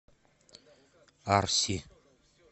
арси